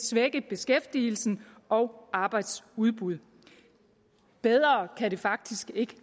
svække beskæftigelsen og arbejdsudbud bedre kan det faktisk ikke